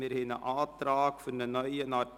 Wir haben einen Antrag für einen neuen Artikel.